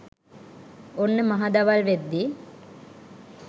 ඔන්න මහ දවල් වෙද්දි